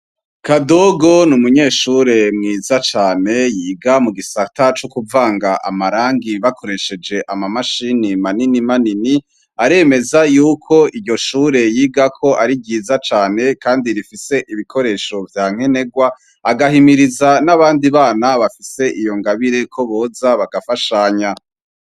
Kadogo ni umunyeshure mwiza cane yiga mu gisata co kuvanga amarangi bakoresheje amamashini manini manini, aremeza yuko iryo shure yigako ari ryiza cane kandi rifise ibikoresho vya nkenerwa, agahimiriza n'abandi bana bafise iyo ngabire ko boza bagafashanya.